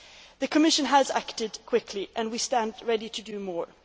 The Commission has acted quickly and we stand ready to do more.